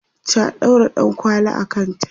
ta ɗaura ɗankwali a kanta